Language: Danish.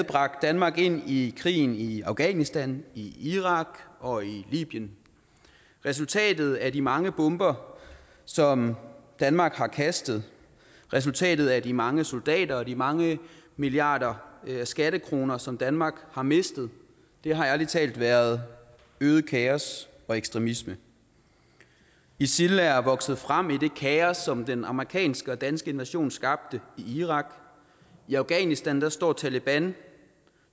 bragt danmark ind i krigen i afghanistan i irak og i libyen resultatet af de mange bomber som danmark har kastet resultatet af de mange soldater og de mange milliarder af skattekroner som danmark har mistet har ærlig talt været øget kaos og ekstremisme isil er vokset frem i det kaos som den amerikanske og danske invasion skabte i irak i afghanistan står taleban